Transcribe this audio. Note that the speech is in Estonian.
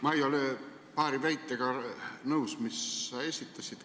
Ma ei ole paari väitega nõus, mis sa esitasid.